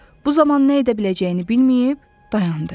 Bu zaman nə edə biləcəyini bilməyib, dayandı.